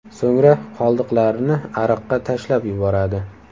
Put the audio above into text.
So‘ngra qoldiqlarini ariqqa tashlab yuboradi.